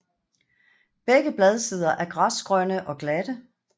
Begge bladsider er græsgrønne og glatte